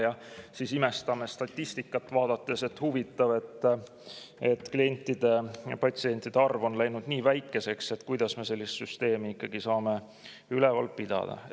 Ja siis imestame statistikat vaadates, et huvitav, klientide-patsientide arv on läinud nii väikeseks, kuidas me sellist süsteemi ikkagi saame üleval pidada.